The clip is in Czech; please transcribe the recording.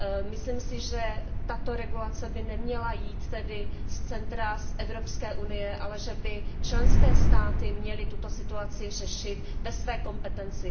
Myslím si, že tato regulace by neměla jít tedy z centra, z Evropské unie, ale že by členské státy měly tuto situaci řešit ve své kompetenci.